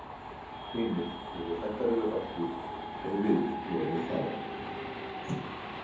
Hinir voru hræddari við okkur en við vorum við þá.